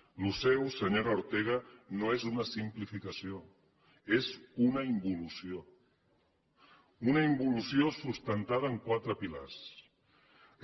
això seu senyora ortega no és una simplificació és una involució una involució sustentada en quatre pilars